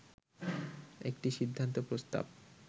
একটি সিদ্ধান্ত প্রস্তাব